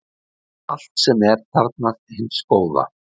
allt sem er þarfnast hins góða